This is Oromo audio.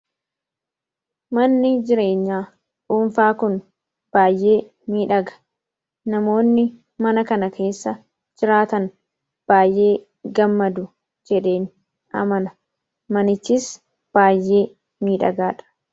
Manni jireenyaa dhuunfaa kun baay'ee miidhaga. Namoonni mana kana keessa jiraatan baay'ee gammadu jedheen amana. Manichis baay'ee miidhagaadha.